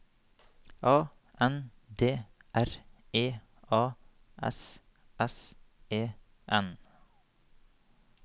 A N D R E A S S E N